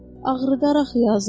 Ağrıdar axı yazıq.